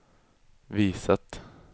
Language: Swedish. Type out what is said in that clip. visat